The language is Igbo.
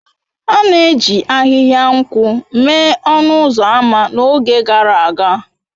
A na-eji ahịhịa nkwụ mee ọnụ ụzọ ámá n'oge gara aga.